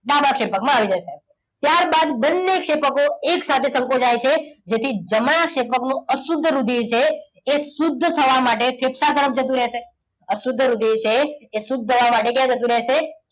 ડાબા ક્ષેપકમાં આવી જશે. ત્યારબાદ બંને ક્ષેપકો એક સાથે સંકોચાય છે. જેથી જમણા ક્ષેપકનું અશુદ્ધ રુધિર છે એ શુદ્ધ થવા માટે ફેફસા તરફ જતું રહેશે. અશુદ્ધ રુધિર છે એ શુદ્ધ થવા માટે ક્યાં જતું રહેશે?